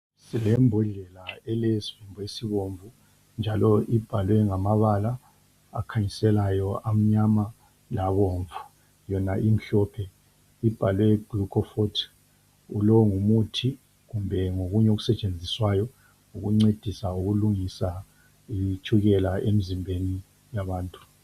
Silembodlela elesivimbo esibomvu njalo ibhalwe ngamabala akhanyiselayo amnyama labomvu yona imhlophe ibhalwe glucofort. Lo ngumuthi kumbe ngokunye okusetshenziswayo ukuncedisa ukulungisa itshukela emzimbeni yabantu.